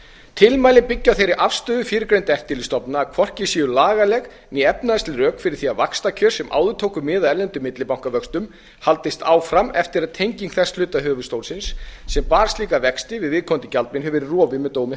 tilmælin byggja á þeirri afstöðu fyrrgreindra eftirlitsstofnana að hvorki séu lagaleg né efnahagsleg rök fyrir því að vaxtakjör sem áður tóku mið af erlendum millibankavöxtum haldist áfram eftir að tenging þess hluta höfuðstólsins sem bar slíka vexti við viðkomandi gjaldmiðil hafi verið rofið með dómi